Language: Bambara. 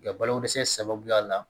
Ka balo dɛsɛ sababuya la